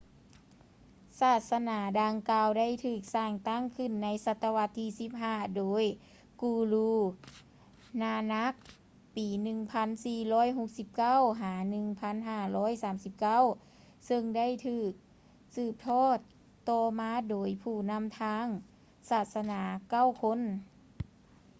ສາສະໜາດັ່ງກ່າວໄດ້ຖືກສ້າງຕັ້ງຂຶ້ນໃນສະຕະວັດທີ 15 ໂດຍ guru nanak ປີ1469–1539 ເຊິ່ງໄດ້ຖືກສີບທອດຕໍ່ມາໂດຍຜູ້ນຳທາງສາສະໜາເກົ້າຄົນ